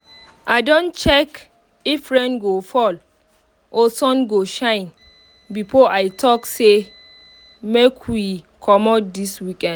i don check if rain go fall or sun go shine before i talk say make we commot this weekend